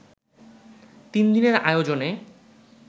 তিন দিনের আয়োজনে